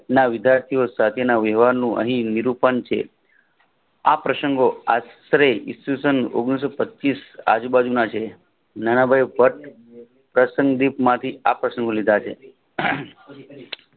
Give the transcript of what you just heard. ના વિદ્યાર્થીઓ સચેન વિવાહનું અનિરૂપણ છે આ પ્રશંગો આંતરે ઈશવિષં ઓગણીસો પચીશ આજુબાજુ ના છે નાનાભાઈ એ પ્રશાંગીતમાંથી આકર્ષણો લીધા છે